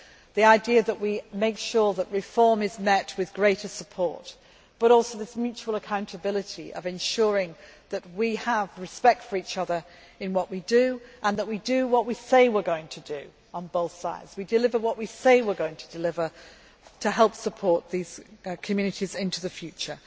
This is the idea that we make sure that reform is met with greater support, but also this mutual accountability of ensuring that we have respect for each other in what we do, that we do what we say we are going to do on both sides, and that we deliver what we say we are going to deliver to help support these communities into the future.